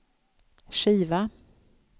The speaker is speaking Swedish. skiva